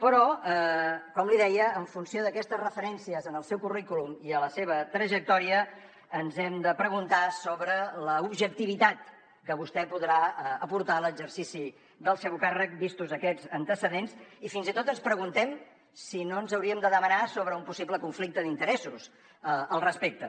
però com li deia en funció d’aquestes referències en el seu currículum i a la seva trajectòria ens hem de preguntar sobre l’objectivitat que vostè podrà aportar a l’exercici del seu càrrec vistos aquests antecedents i fins i tot ens preguntem si no ens hauríem de demanar sobre un possible conflicte d’interessos al respecte